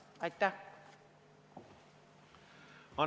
Aitäh!